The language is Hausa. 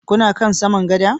Kuna kan saman gada?